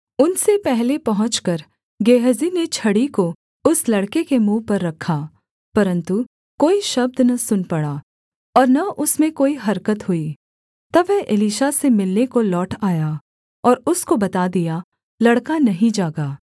उनसे पहले पहुँचकर गेहजी ने छड़ी को उस लड़के के मुँह पर रखा परन्तु कोई शब्द न सुन पड़ा और न उसमें कोई हरकत हुई तब वह एलीशा से मिलने को लौट आया और उसको बता दिया लड़का नहीं जागा